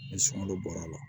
Ni sunkalo bɔra la